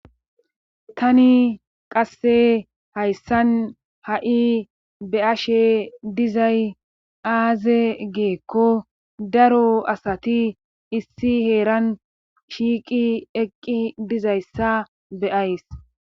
tani qase hayssan ha7i be ashe dizay aaze geekko daro asati issi heeran shiiqi eqqi dizayssa be7ays.